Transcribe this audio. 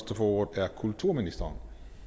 ordet er kulturministeren